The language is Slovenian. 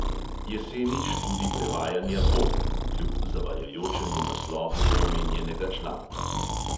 Jeseni študij prevajanja bo (kljub zavajajočemu naslovu omenjenega članka).